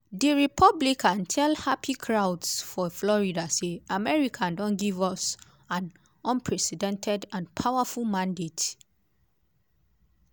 di republican tell happy crowds for florida say: "america don give us an unprecedented and powerful mandate".